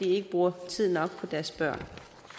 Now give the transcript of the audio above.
ikke bruger tid nok på deres børn